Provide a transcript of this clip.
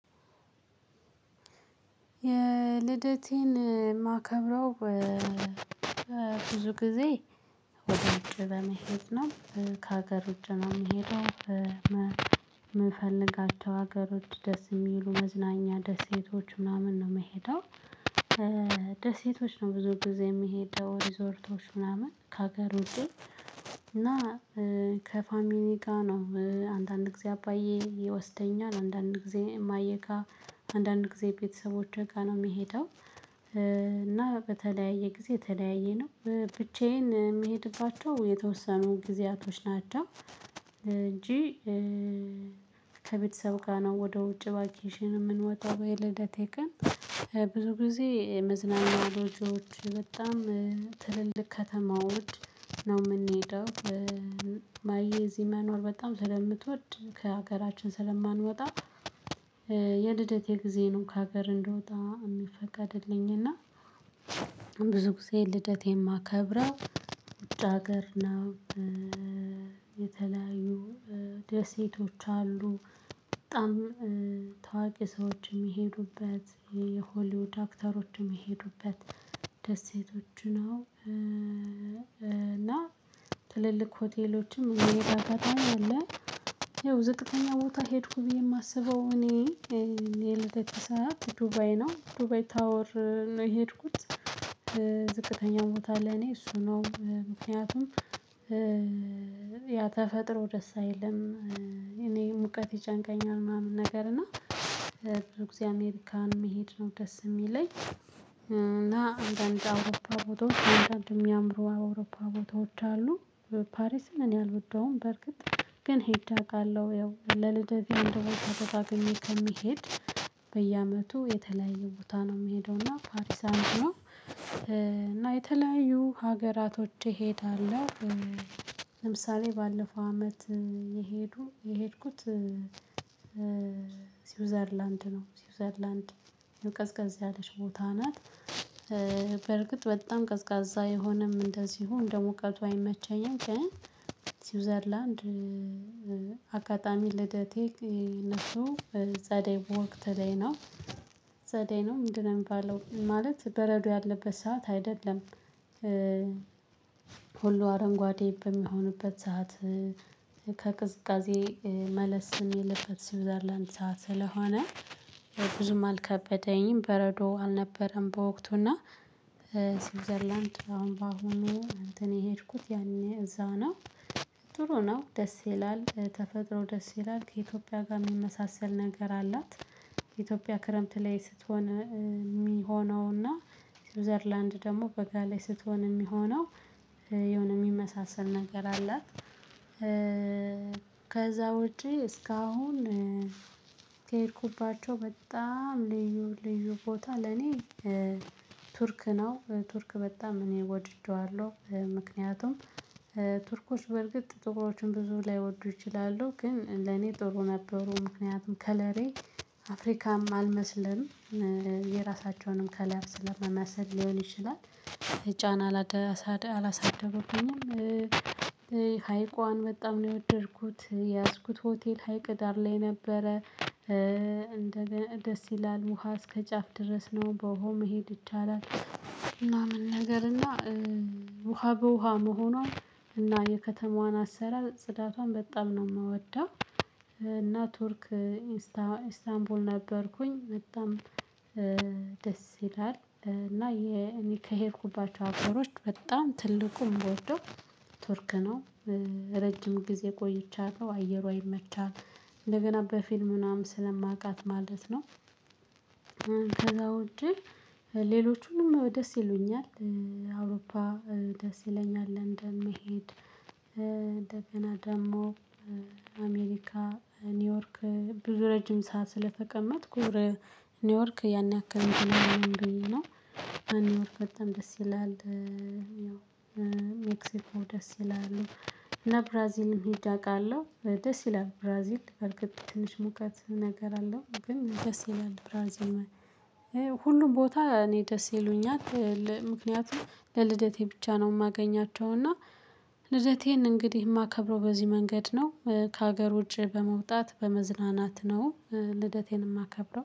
የልደቴን የማከብረው ብዙ ጊዜ ወደ ውጭ በመሄድ ነው። ከሀገር ውጭ ነው የምሄደው የምንፈልጋቸው ሀገሮች ደስ የሚሉ መዝናኛ ደሴቶች ምናምን ነው የምሄደው። ደሴቶች ነው ብዙ ጊዜ የሚሄደው ሪዞርቶች ምናምን ከሀገር ውጪ። እና ከፋሚሊ ጋር ነው አንዳንድ ጊዜ አባዬ ይወስደኛል አንዳንድ ጊዜ እማየ ጋ አንዳንድ ጊዜ ቤተሰቦቸ ጋ ነው እምሄደው። እና በተለያየ ጊዜ ተለያየ ነው ብቻዬን የምሄድባቸው የተወሰኑ ጊዜያቶች ናቸው እንጂ። ከቤተሰብ ጋር ነው ወደ ውጭ ቫኬሽን የምንወጣው በልደቴ ቀን። ብዙ ጊዜ መዝናኛ ሎጂዎች በጣም ትልልቅ ከተማ ውድ ነው የምንሄደው። እማየ እዚህ መኖር በጣም ስለምትወድ ከሀገራችን ስለማንወጣ። የልደቴን ጊዜ ነው ከሀገር እንድወጣ የሚፈቀድልኝ እና ብዙ ጊዜ ልደቴን የማከብረው ውጭ ሀገር ነው። የተለያዩ ደሴቶች አሉ በጣም ታዋቂ ሰዎችም የሚሄዱበት የሆሊውድ አክተሮችም የሚሄዱበት። ደሴቶች ነው እና ትልልቅ ሆቴሎችም ይሄ አጋጣሚ አለ። ያው ዝቅተኛ ቦታ ሄድኩ ብዬ የማስበው እኔ የለተሰራት ሰራት ዱባይ ነው ዱባይ ታወር ነው የሄድኩት። ዝቅተኛው ቦታ ለኔ እሱ ነው ምክንያቱም ያ ተፈጥሮ ደስ አይልም። እኔ ሙቀት ይጨንቀኛል ምናምን ነገር ነው። ብዙ ጊዜ አሜሪካን መሄድ ነው ደስ የሚለኝ እና አንዳንድ አውሮፓ ቦታዎች አንዳንድ የሚያምሩ አውሮፓ ቦታዎች አሉ። ፓሪስን እኔ አልወደውም በርግጥ ግን ሄድ አውቃለሁ ያው ለልደት የሚያደርገው ተጠቃቅሜ ከሚሄድ። በየዓመቱ የተለያዩ ቦታ ነው የምሄደው እና ፓሪስ አንድ ነው እና የተለያዩ ሀገራቶች ይሄዳል። ለምሳሌ ባለፈው አመት የሄዱ የሄድኩት። ስዊዘርላንድ ነው ስዊዘርላንድ ቀዝቀዝ ያለች ቦታ ናት። በርግጥ በጣም ቀዝቃዛ የሆነም እንደዚሁ እንደሙቀቱ አይመቸኝም። ስዊዘርላንድ አጋጣሚ ልደቴ እነሱ ጸደይ በወቅት ላይ ነው። ዘዴ ነው ምንድነው? የሚባለው ማለት በረዶ ያለበት ሰዓት አይደለም። ሁሉ አረንጓዴ በሚሆንበት ሰዓት። ከቅዝቃዜ መለስ የለበት ስዊዘርላንድ ሰዓት ስለሆነ ብዙም አልከበደኝም በረዶ አልነበረም በወቅቱና። ስዊዘርላንድ አሁን በአሁኑ እንትን የሄድኩት ያኔ እዛ ነው። ጥሩ ነው ደስ ይላል ተፈጥሮ ደስ ይላል ከኢትዮጵያ ጋር የሚመሳሰል ነገር አላት። የኢትዮጵያ ክረምት ላይ ስትሆን የሚሆነውና ስዊዘርላንድ ደግሞ በጋ ላይ ስትሆን የሚሆነው የሆነ የሚመሳሰል ነገር አላት። ከዛ ውጪ እስካሁን። ከሄድኩባቸው በጣም ልዩ ልዩ ቦታ ለኔ። ቱርክ ነው ቱርክ በጣም እኔ ወድደዋለሁ ምክንያቱም። ቱርኮች በርግጥ ጥቁሮችን ብዙ ላይወዱ ይችላሉ ግን ለኔ ጥሩ ነበሩ። ምክንያቱም ከለሬ አፍሪካም አልመስለንም። የራሳቸውንም ከላይ ስለመመሰል ሊሆን ይችላል። ጫና አላሳደገብኝም አላሳደበኩኝም። ሀይቋን በጣም ነው የወደድኩት የያዝኩት ሆቴል ሀይቅ ዳር ላይ ነበረ። እንደገና ደስ ይላል ውሃ እስከ ጫፍ ድረስ ነው በውሃው መሄድ ይቻላል። እና ምን ነገር እና ውሃ በውሃ መሆኗን እና የከተማዋን አሰራር ጽዳቷን በጣም ነው የምወደው። እና ቱርክ ኢንስታንቡል ነበርኩኝ በጣም። ደስ ይላል እና እኔ ከሄድኩባቸው አገሮች በጣም ትልቁን በወርዶ ቱርክ ነው። ረጅም ጊዜ ቆየቻለሁ አየሯ አይመቻትም። እንደገና በፊልሙናም ስለማውቃት ማለት ነው። ከዛ ውጪ። ሌሎቹንም ደስ ይሉኛል። አውሮፓ ደስ ይለኛል ለንደን መሄድ እንደገና ደግሞ አሜሪካ ኒውዮርክ ብዙ ረጅም ሰዓት ስለተቀመጥኩ። ኒውዮርክ ያን ያክል እንደምንለው ነው ኒውዮርክ በጣም ደስ ይላል። ያው ደስ ይላሉ። እና ብራዚልም ሂድ አውቃለሁ ደስ ይላል ብራዚል በርግጥ ትንሽ ሙቀት ነገር አለው ግን ደስ ይላል ብራዚል። ማይ ሁሉም ቦታ እኔ ደስ ይሉኛል። ምክንያቱም ለልደቴ ብቻ ነው የማገኛቸው እና ልደቴን እንግዲህ የማከብረው በዚህ መንገድ ነው። ከሀገር ውጪ በመውጣት በመዝናናት ነው። ልደቴን የማከብረው